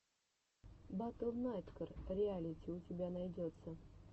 батл найткор реалити у тебя найдется